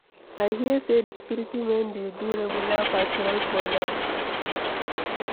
I hear say the security men dey do regular patrol for night.